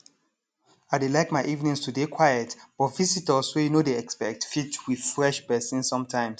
i dey like my evenings to dey quiet but visitors wey you nor dey expect fit refresh pesin sometimes